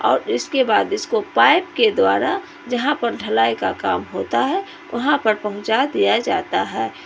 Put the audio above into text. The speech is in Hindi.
और इसके बाद इसको पाइप के द्वारा जहां पर ढलाई का काम होता है वहां पर पहुंचा दिया जाता है।